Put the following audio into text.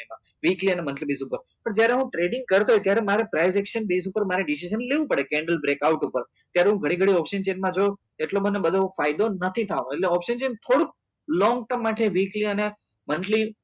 weekly અને monthly base ઉપર પણ જ્યારે હું trening કરતો હોવ ત્યારે મારે prijection ઉપર મારે decision મારે લેવું પડે candle break out ઉપર ત્યારે હું ઘડી ઘડી option chain પર જાઉં એટલે મને બધો ફાયદો નથી થવા નો એટલે option જ ને થોડુક long term માટે weekly અને monthly